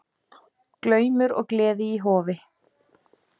Glaumur og gleði í Hofi